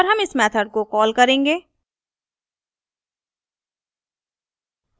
और हम इस method को कॉल करेंगे